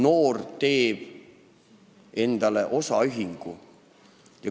Noor teeb endale osaühingu.